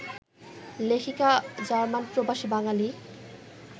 লেখিকা জার্মানপ্রবাসী বাঙালি